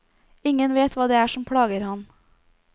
Ingen vet hva det er som plager ham.